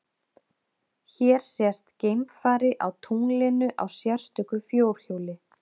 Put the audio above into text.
Hér sést geimfari á tunglinu á sérstöku fjórhjóli.